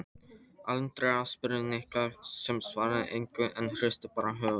Andrea spurði Nikka sem svaraði engu en hristi bara höfuðið.